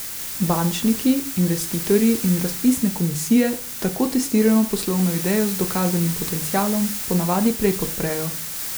Bančniki, investitorji in razpisne komisije tako testirano poslovno idejo z dokazanim potencialom ponavadi prej podprejo.